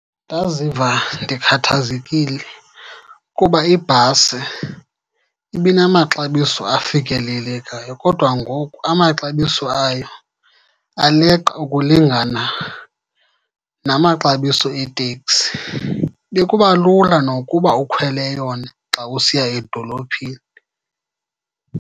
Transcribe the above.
Ndaziva ndikhathazekile kuba ibhasi ibinamaxabiso afikelelekayo kodwa ngoku amaxabiso ayo aleqa ukulingana namaxabiso eeteksi. Bekuba lula nokuba ukhwele yona xa usiya edolophini.